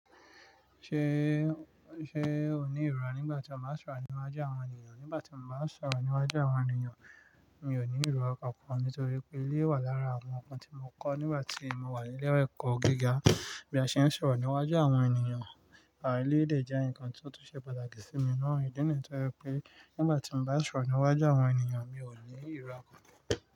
Ṣe, ṣe o ni ìrọ́ra nígbà tí o báa ń sọ̀rọ̀ níwájú àwọn ènìyàn? Nígbà tí mo bá ń sọ̀rọ̀ níwájú àwọn ènìyàn, mi ò ní ìrọ́ra kan kán nítorí pé eleyii wà lára àwọn nnkan tí mo kọ́ nígbà tí mo wà ní ilé ẹ̀kọ́ gíga. Bí a ṣe ń sọ̀rọ̀ níwájú àwọn ènìyàn, à eleyii dè jẹ́ nǹkan tí ó tún ṣe pàtàkì sí mi na. Ìdí nìyii to je pé nígbà tí mo bá ń sọ̀rọ̀ níwájú àwọn ènìyàn, mi ò ní ìrọ́ra kánkan.